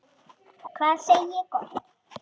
Hvað segi ég gott?